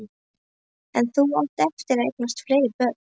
En þú átt eftir að eignast fleiri börn.